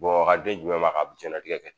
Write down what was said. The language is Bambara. Bamakɔkaden jumɛn b'a ka jɛnnatigɛ kɛ tan